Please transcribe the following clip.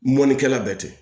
Mɔnikɛla bɛɛ tɛ